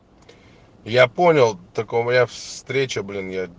я понял только у меня встреча блин я